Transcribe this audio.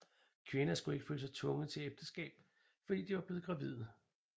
Kvinder skulle ikke føle sig tvunget til ægteskab fordi de var blevet gravide